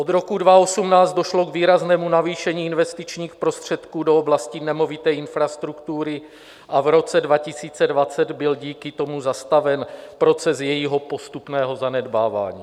Od roku 2018 došlo k výraznému navýšení investičních prostředků do oblasti nemovité infrastruktury a v roce 2020 byl díky tomu zastaven proces jejího postupného zanedbávání.